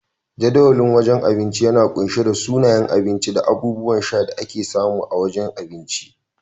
Jadawalin wajen abinci yana kunshe da sunayen abinci da abubuwan sha da ake samu a wajen abinci.